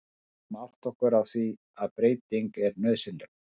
Við verðum að átta okkur á því að breyting er nauðsynleg.